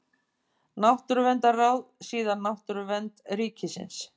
Náttúruverndarráð, síðar Náttúruvernd ríkisins.